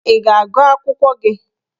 Ị ga-agụ akwụkwọ gị?